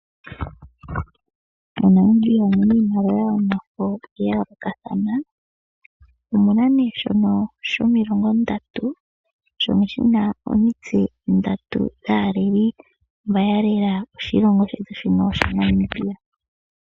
Monamibia omuna iimaliwa yomafo ya yoolokathana. Omuna omilongo ndatu oshimaliwa shono shina omitse ndatu dhaaleli mbo yalela oshilongo shetu shaNamibia.